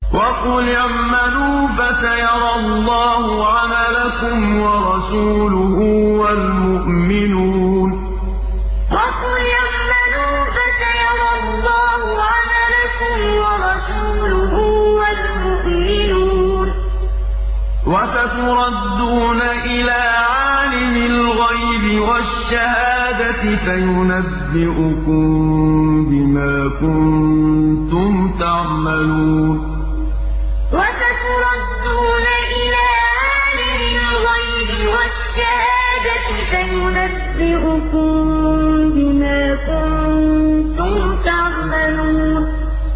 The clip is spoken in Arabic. وَقُلِ اعْمَلُوا فَسَيَرَى اللَّهُ عَمَلَكُمْ وَرَسُولُهُ وَالْمُؤْمِنُونَ ۖ وَسَتُرَدُّونَ إِلَىٰ عَالِمِ الْغَيْبِ وَالشَّهَادَةِ فَيُنَبِّئُكُم بِمَا كُنتُمْ تَعْمَلُونَ وَقُلِ اعْمَلُوا فَسَيَرَى اللَّهُ عَمَلَكُمْ وَرَسُولُهُ وَالْمُؤْمِنُونَ ۖ وَسَتُرَدُّونَ إِلَىٰ عَالِمِ الْغَيْبِ وَالشَّهَادَةِ فَيُنَبِّئُكُم بِمَا كُنتُمْ تَعْمَلُونَ